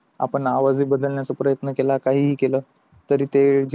आपण आवाज हि बदलण्याचा प्रयत्न केल काहीहि केले तरी ते